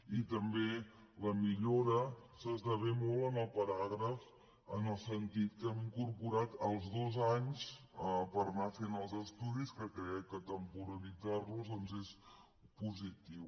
i també la millora s’esdevé molt en el paràgraf en el sentit que hem incorporat els dos anys per anar fent els estudis que crec que temporalitzar los doncs és positiu